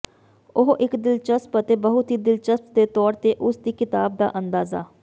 ਉਹ ਇੱਕ ਦਿਲਚਸਪ ਅਤੇ ਬਹੁਤ ਹੀ ਦਿਲਚਸਪ ਦੇ ਤੌਰ ਤੇ ਉਸ ਦੀ ਕਿਤਾਬ ਦਾ ਅੰਦਾਜ਼ਾ